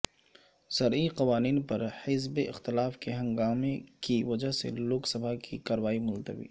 زرعی قوانین پر حزب اختلاف کے ہنگامے کی وجہ سے لوک سبھا کی کاروائی ملتوی